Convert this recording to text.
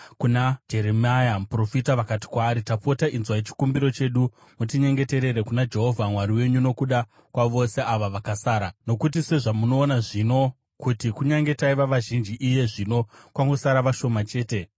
kuna Jeremia muprofita vakati kwaari, “Tapota inzwai chikumbiro chedu mutinyengeterere kuna Jehovha Mwari wenyu nokuda kwavose ava vakasara. Nokuti sezvamunoona zvino, kuti kunyange taiva vazhinji, iye zvino kwangosara vashoma chete.